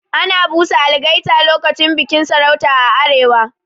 Ana busa algaita lokacin bikin sarauta a arewa.